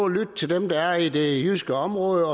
at lytte til dem der er i det jyske område